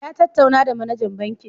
Ya ttatauna da manajan bankin